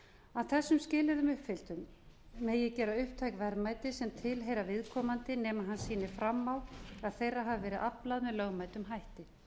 að þessum skilyrðum uppfylltum megi gera upptæk verðmæti sem tilheyra viðkomandi nema hann sýni fram á að þeirra hafi verið aflað með lögmætum hætti